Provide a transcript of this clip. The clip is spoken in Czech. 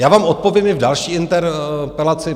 Já vám odpovím i v další interpelaci.